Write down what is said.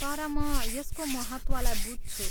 तर म यसको महत्त्वलाई बुझ्छु।